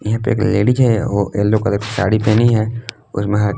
यहा पे एक लेडीज है वह येलो कलर साड़ी पहनी है और महक--